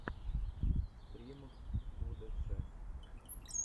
стрим удэцэ